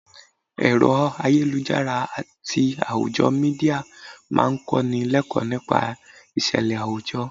Ẹ̀rọ ayélujára àti àwùjọ Mídíà máa ń kó ni l'ekoo nípa ìṣẹ̀lẹ̀ àwùjọ.